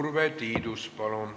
Urve Tiidus, palun!